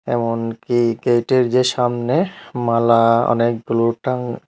front গৈ গেটের যে সামনে মালা অনেকগুলো টাং--